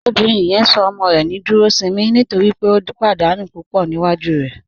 Obìnrin yẹn sọ ọmọ rẹ ní Dúròṣìnmí nítorí pé ó pádànù púpọ́ níwájú rẹ.